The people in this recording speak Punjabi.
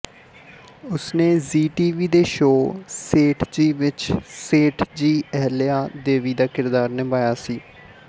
ਉਸ ਨੇ ਜ਼ੀ ਟੀਵੀ ਦੇ ਸ਼ੋਅ ਸੇਠਜੀ ਵਿੱਚ ਸੇਠਜੀ ਅਹਿਲਿਆ ਦੇਵੀ ਦਾ ਕਿਰਦਾਰ ਨਿਭਾਇਆ ਸੀ